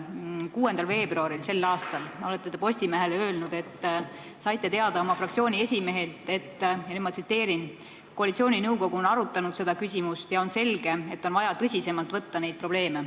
Tänavu 6. veebruaril olete Postimehele öelnud, et saite teada oma fraktsiooni esimehelt, et koalitsiooninõukogu on arutanud seda küsimust ja on selge, et on vaja tõsisemalt võtta neid probleeme.